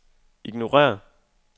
ignorér